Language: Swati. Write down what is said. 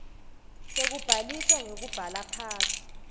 sekubhaliswa ngekubhala phansi